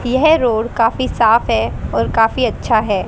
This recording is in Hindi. यह रोड काफी साफ है और काफी अच्छा है।